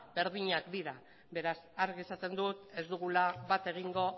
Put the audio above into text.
berdinak dira beraz argi esaten dut ez dugula bat egingo